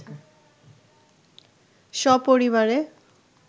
স্বপরিবারে